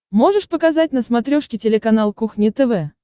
можешь показать на смотрешке телеканал кухня тв